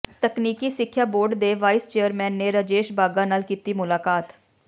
ਤਕਨੀਕੀ ਸਿੱਖਿਆ ਬੋਰਡ ਦੇ ਵਾਈਸ ਚੇਅਰਮੈਨ ਨੇ ਰਾਜੇਸ਼ ਬਾਘਾ ਨਾਲ ਕੀਤੀ ਮੁਲਾਕਾਤ